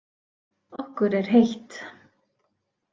Okkur er heitt.